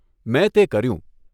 મેં તે કર્યું.